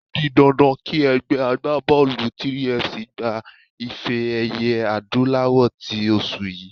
O di dandan kí ẹgbẹ́ agbábọ́ọ̀lù 3FC gba ife-ẹ̀yẹ adúláwọ̀ tí oṣù yìí.